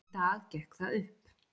Í dag gekk það upp.